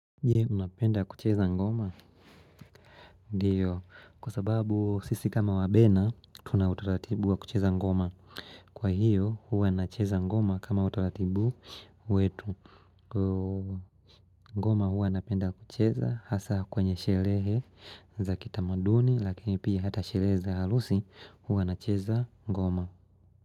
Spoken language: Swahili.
Jee, unapenda kucheza ngoma? Ndiyo, kwa sababu sisi kama wabena, tuna utaratibu wa kucheza ngoma. Kwa hiyo, huwa nacheza ngoma kama utalatibu wetu. Ngoma huwa napenda kucheza, hasa kwenye sherehe za kitamaduni, lakini pia hata shereza halusi, huwa nacheza ngoma.